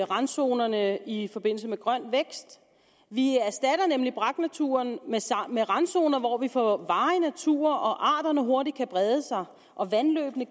randzonerne i forbindelse med grøn vækst vi erstatter nemlig braknaturen med randzoner hvor vi får varig natur og arterne hurtigt kan brede sig og vandløbene